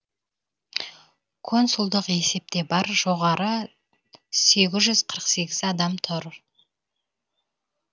консулдық есепте бар жоғары сегіз жүз қырық сегіз адам тұр